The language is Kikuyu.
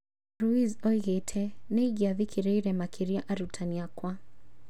Ruiz oigĩte "nĩingĩa thikĩrĩirie makĩria arutani akwa"